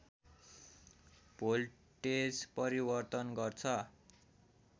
voltage परिवर्तन गर्छ